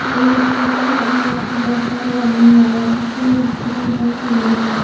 ये एक स्टेशन है और यहाँ पर बहुत सारे आदमी हैं और यहाँ पीछे एक सफेद रंग का घर भी है।